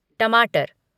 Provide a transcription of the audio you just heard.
टमाटर